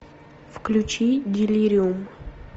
включи делириум